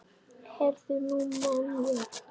Heyrðu, nú man ég.